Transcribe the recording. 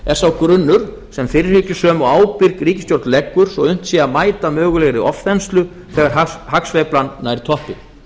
er sá grunnur sem fyrirhyggjusöm og ábyrg ríkisstjórn leggur svo unnt sé að mæta mögulegri ofþenslu þegar hagsveiflan nær toppi